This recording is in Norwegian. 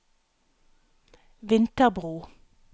Vinterbro